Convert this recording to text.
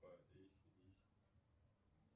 эй си ди си